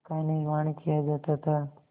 का निर्माण किया जाता था